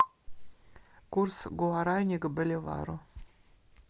курс гуарани к боливару